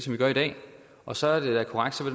vi gør i dag og så er det da korrekt at